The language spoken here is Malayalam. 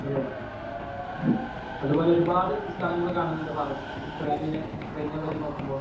അതേ അത്പോലെ ഒരു പാട് സ്ഥലങ്ങള് കാണുന്നുണ്ട് ഫാറസ് യുക്രൈനിലെ യുക്രൈനെ പറ്റി നോക്കുമ്പോ